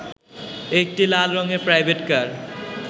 একটি লাল রঙের প্রাইভেট কার